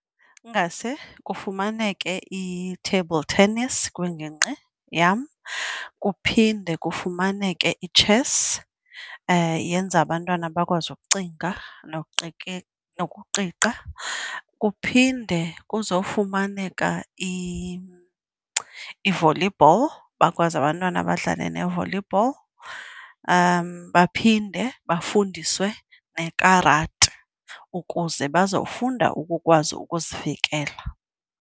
Ingase kufumaneke i-table tennis kwingingqi yam kuphinde kufumaneke i-chess, yenza abantwana bakwazi ukucinga nokuqiqa. Kuphinde kuzofumaneka i-volleyball, bakwazi abantwana abadlale ne-volleyball. Baphinde bafundiswe nekarati ukuze bazofunda ukukwazi ukuzivikela.